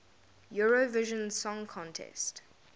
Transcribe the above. eurovision song contest